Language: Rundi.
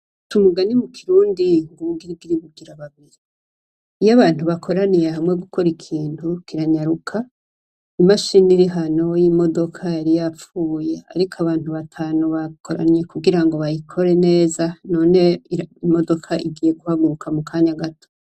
Baca umugani mu kirundi ngo ubugirigiri bugira babiri. Iyo abantu bakoraniye hamwe gukora ikintu, kiranyaruka, imashini iri hano y'imodoka yari yapfuye, ariko abantu batanu bakoranye kugira ngo bayikore neza, none imodoka igiye guhaguruka mukanya gato.